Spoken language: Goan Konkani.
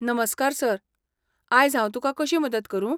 नमस्कार सर. आयज हांव तुका कशी मदत करूं?